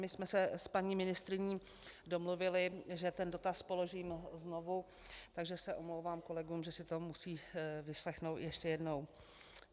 My jsme se s paní ministryní domluvily, že ten dotaz položím znovu, takže se omlouvám kolegům, že si to musí vyslechnout ještě jednou.